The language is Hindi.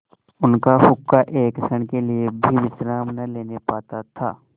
उनका हुक्का एक क्षण के लिए भी विश्राम न लेने पाता था